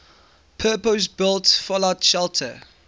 purpose built fallout shelter